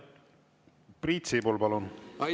Priit Sibul, palun!